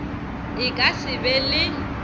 e ka se be le